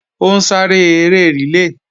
Ó ń sáré eré rìlé